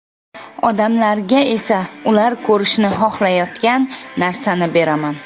Odamlarga esa ular ko‘rishni xohlayotgan narsani beraman.